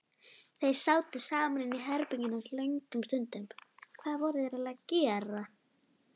Þeir sátu saman inni í herberginu hans löngum stundum.